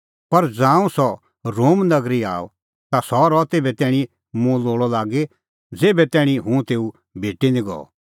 पर ज़ांऊं सह रोम नगरी आअ ता सह रहअ तेभै तैणीं मुंह लोल़अ लागी ज़ेभै तैणीं हुंह तेऊ भेटअ निं गअ